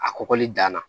A kɔgɔli danna